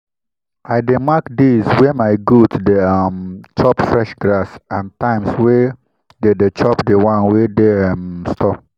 i dey mark days wey my goat dey um chop fresh grass and times wey dey dey chop di one wey dey um store.